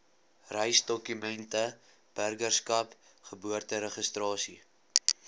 reisdokumente burgerskap geboorteregistrasie